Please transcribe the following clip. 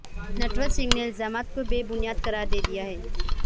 نٹور سنگھ نےالزامات کو بے بنیاد قرار دیا ہے